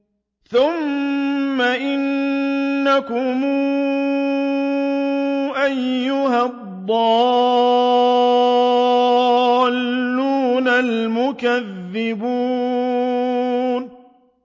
ثُمَّ إِنَّكُمْ أَيُّهَا الضَّالُّونَ الْمُكَذِّبُونَ